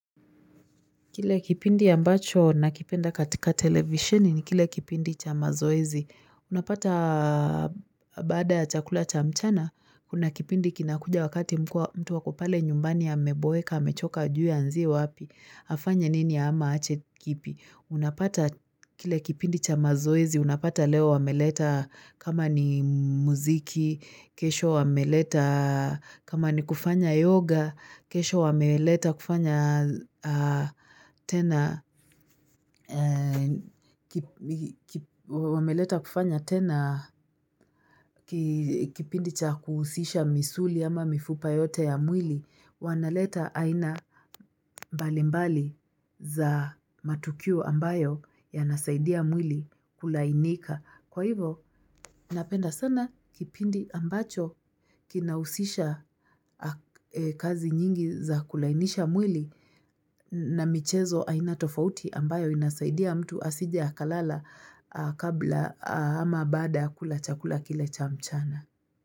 Kile kipindi ambacho nakipenda katika televisheni ni kile kipindi cha mazoezi. Unapata baada ya chakula cha mchana, kuna kipindi kinakuja wakati mtu ako pale nyumbani ameboeka, amechoka hajui aanzie wapi, afanye nini ama aache kipi. Unapata kile kipindi cha mazoezi, unapata leo wameleta kama ni muziki, kesho wameleta kama ni kufanya yoga, kesho wameleta kufanya tena kipindi cha kuhusisha misuli ama mifupa yote ya mwili, wanaleta aina mbali mbali za matukiu ambayo ya nasaidia mwili kulainika. Kwa hivo, napenda sana kipindi ambacho kinausisha kazi nyingi za kulainisha mwili na michezo aina tofauti ambayo inasaidia mtu asije akalala kabla ama baada kula chakula kile cha mchana.